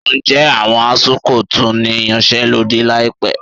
Ǹjẹ́ àwọn ASUU kò tún ní yanṣẹ́lódì láìpẹ́?